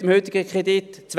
Mit dem heutigen Kredit.